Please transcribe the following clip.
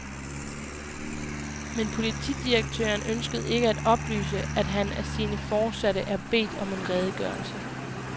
Men politidirektøren ønskede ikke at oplyse, at han af sine foresatte er bedt om en redegørelse.